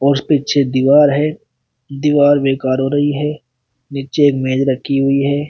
और पीछे दीवार है। दीवार बेकार हो रही है। नीचे एक मेज रखी हुई है।